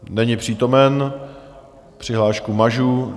Není přítomen, přihlášku mažu.